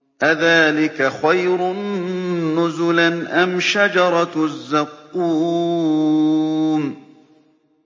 أَذَٰلِكَ خَيْرٌ نُّزُلًا أَمْ شَجَرَةُ الزَّقُّومِ